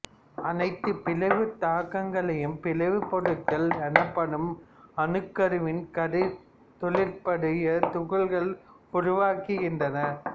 அனைத்து பிளவுத் தாக்கங்களும் பிளவுப் பொருட்கள் எனப்படும் அணுக்கருவின் கதிர்த் தொழிற்பாடுடைய துகள்களை உருவாக்குகின்றன